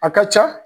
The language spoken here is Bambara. A ka ca